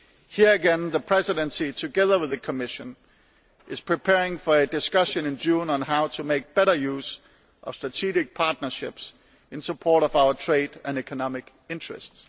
Here again the Presidency, together with the Commission, is preparing for a discussion in June on how to make better use of strategic partnerships in support of our trade and economic interests.